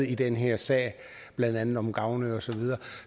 i den her sag blandt andet om gavnø osv